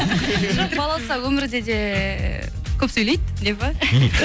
жоқ балауса өмірде де көп сөйлейді деп па